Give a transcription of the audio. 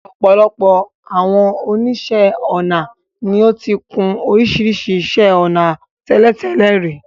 Ọ̀pọ̀ àwọn oníṣẹ́ ọnà ni ó ti kun oríṣiríṣi iṣẹ́ ọnà tẹ́lẹ̀tẹ́lẹ̀ rí.